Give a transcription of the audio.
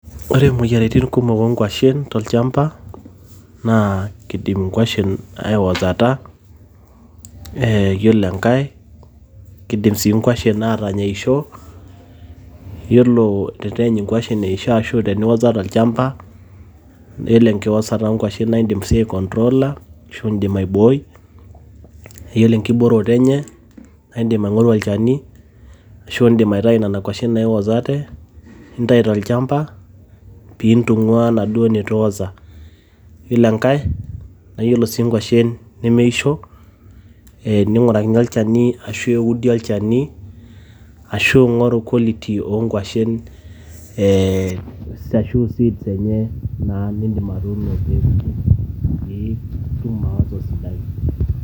Ore moyiaritin kumok oo nguashen tolchamba naa kidim nkuashen aiwosota, eeh yiolo enkae kidim sii nkuashen aatanya eisho. Yiolo teneeny nkuashen eisho ashu teniwosa tolchamba, yiolo enkiwosata oo nkuashen naa idim sii ai control aa. Nidim aiboi naa ore enkiboroto enye naa idim aing`oru olchani ashu idim aitayu nena kuashen naiwosate nintayu tolchamba pee intung`uaa naduo nitu wosa. Yiolo enkae ore sii nkuashen nemeisho neing`urakini olchani ashu eudi olchani ashu ing`oru quality oo nkuashen ee ashu seeds enye nidim atuno peepuku pee itum awoto esidai.